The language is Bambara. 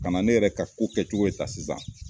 Ka na ne yɛrɛ ka ko kɛcogo ye tan sisan